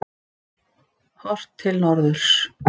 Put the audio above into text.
Horft til norðurs.